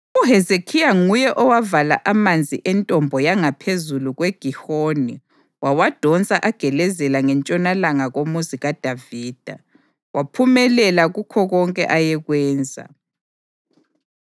UHezekhiya nguye owavala amanzi entombo yangaphezulu kweGihoni wawadonsa agelezela ngentshonalanga koMuzi kaDavida. Waphumelela kukho konke ayekwenza.